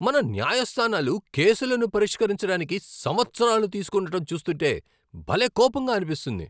మన న్యాయస్థానాలు కేసులను పరిష్కరించడానికి సంవత్సరాలు తీస్కుంటుండటం చూస్తుంటే భలే కోపంగా అనిపిస్తుంది.